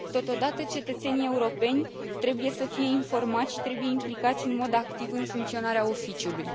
Totodată, cetățenii europeni trebuie să fie informați și trebuie implicați în mod activ în funcționarea Oficiului.